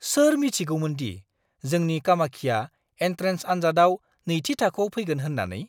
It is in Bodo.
सोर मिथिगौमोनदि जोंनि कामाक्षीया एन्ट्रेन्स आनजादाव नैथि थाखोआव फैगोन होन्नानै?